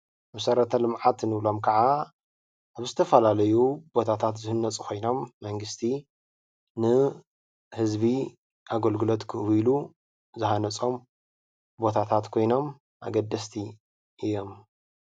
መሰረተ ልምዓት እንብሎም ክዓ ንዝተፈላለዩ ቦታታት ዝህነፁ ኮይኖም መንግስቲ፣ ንህዝቢ ኣገልግሎት ክህቡ ኢሉ ዝሃነፆም ቦታታት ኮይኖም ኣገደስቲ እዮም፡፡